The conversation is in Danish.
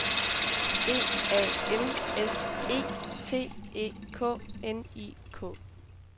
D A N S E T E K N I K